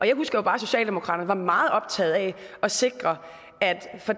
jeg husker bare at socialdemokraterne var meget optaget af at sikre at